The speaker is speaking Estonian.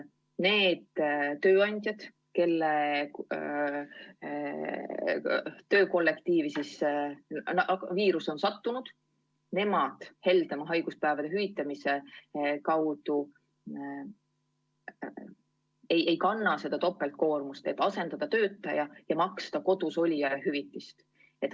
Need tööandjad, kelle kollektiivi viirus on sattunud, ei kannaks heldema haiguspäevade hüvitamise korral seda topeltkoormust, et maksta asendajale ja maksta kodus olijale hüvitist.